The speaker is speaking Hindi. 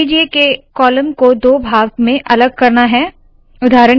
मान लीजिए के कॉलम को दो भाग में अलग करना है